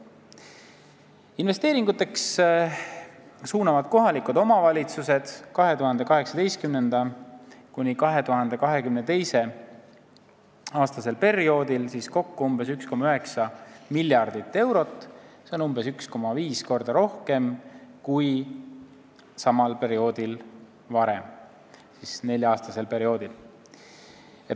Investeeringuteks suunavad kohalikud omavalitsused perioodil 2018–2022 kokku umbes 1,9 miljardit eurot, see on umbes 1,5 korda rohkem kui varem samal nelja-aastasel perioodil.